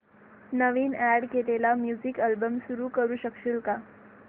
नवीन add केलेला music album सुरू करू शकशील का